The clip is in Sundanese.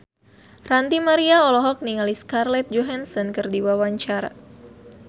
Ranty Maria olohok ningali Scarlett Johansson keur diwawancara